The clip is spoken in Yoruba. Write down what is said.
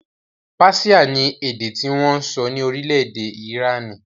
Páṣíà ni èdè tí wọn ń sọ ní orílẹ̀-èdè Ìránì